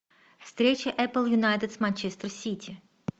встреча апл юнайтед с манчестер сити